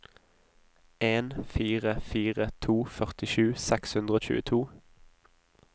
en fire fire to førtisju seks hundre og tjueto